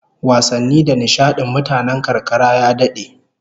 Wasanni da nishadin mutanen karkara ya dade